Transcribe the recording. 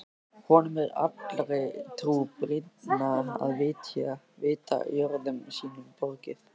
Honum er allri trú brýnna að vita jörðum sínum borgið.